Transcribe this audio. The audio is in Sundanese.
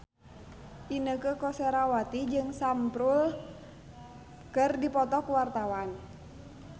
Inneke Koesherawati jeung Sam Spruell keur dipoto ku wartawan